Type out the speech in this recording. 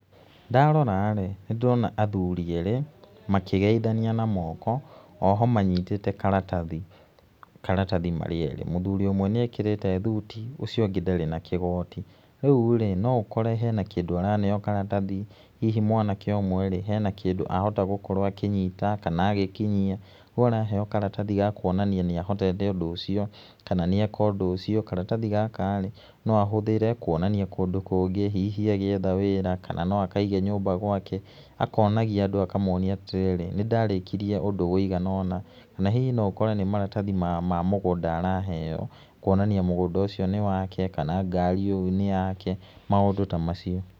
Ndarora-rĩ nĩ ndĩrona athuri erĩ makĩgeithania na moko oho manyitĩte karatathi, karatathi marĩ erĩ. Mũthuri ũmwe nĩ ekĩrĩte thuti ũcio ũngĩ ndarĩ na kĩgoti, rĩu-rĩ no ũkore hena kĩndũ araneo karatathi hihi mwanake ũmwe-rĩ hena kĩndũ ahota gũkorwo akĩnyita kana agĩkinyia rĩu araheo karatathi ga kuonania nĩ ahotete ũndũ ũcio kana nĩ eka ũndũ ũcio. Karatathi gaka-rĩ no ahũthĩre kũonania kũndũ kũngĩ hihi agĩetha wĩra kana no akaige nyũmba gwake akonagia andũ akamonia atĩ rĩrĩ nĩndarĩkirĩe ũndũ ũigana ona. Kana hihi no ũkore nĩ maratathi ma mũgũnda araheo kũonania mũgũnda ũcio nĩ wake kana ngari ĩyo nĩ yake maũndũ ta macio.